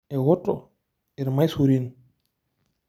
Eoto irmaisurin.